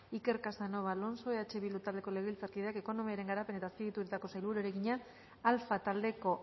iker casanova alonso eh bildu taldeko legebiltzarkideak ekonomiaren garapen eta azpiegituretako sailburuari egina alfa taldeko